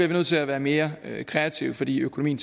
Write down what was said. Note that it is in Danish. vi nødt til at være mere kreative fordi økonomien